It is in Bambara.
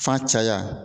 Fa caya